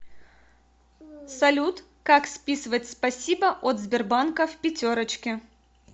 салют как списывать спасибо от сбербанка в пятерочке